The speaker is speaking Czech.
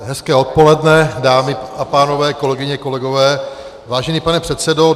Hezké odpoledne, dámy a pánové, kolegyně, kolegové, vážený pane předsedo.